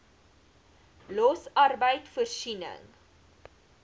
los arbeid voorsiening